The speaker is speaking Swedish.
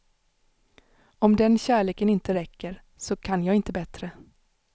Om den kärleken inte räcker, så kan jag inte bättre.